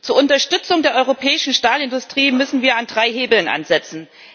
Zur Unterstützung der europäischen Stahlindustrie müssen wir an drei Hebeln ansetzen.